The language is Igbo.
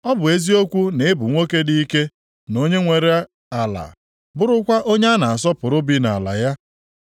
Ọ bụ eziokwu na ị bụ nwoke dị ike na onye nwere ala, bụrụkwa onye a na-asọpụrụ bi nʼala ya,